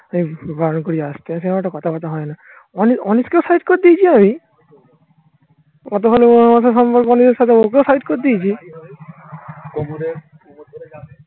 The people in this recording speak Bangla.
কথাবার্তা হয় না অনেক অনেক কেও side করে দিয়েছি আমি. কতখানি ওনার মাথার সম্পর্ক নিজের সাথে ওকেও side করে দিয়েছি